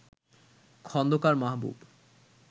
Khandakar Mahbub